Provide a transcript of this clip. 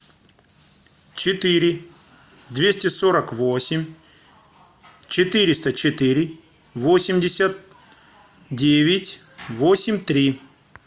четыре двести сорок восемь четыреста четыре восемьдесят девять восемь три